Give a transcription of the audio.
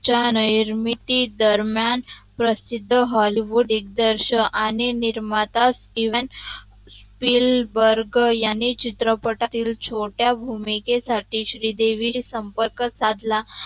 च्य़ा निर्माता दरम्यान प्रशिध हॉलीवुड दिग्दर्शक आणि निर्माता इवेंट फील ब्रग याने चित्रपटातील छोट्या भूमिकेसटी श्रीदेवीसी संपरग सादला